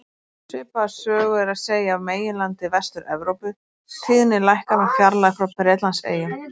Svipaða sögu er að segja af meginlandi Vestur-Evrópu, tíðnin lækkar með fjarlægð frá Bretlandseyjum.